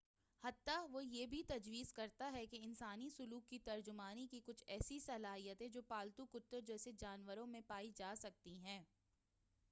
حتّیٰ وہ یہ بھی تجویز کرتا ہے کہ انسانی سلوک کی ترجمانی کی کچھ ایسی صلاحیتیں جو پالتو کتوں جیسے جانوروں میں پائی جا سکتی ہیں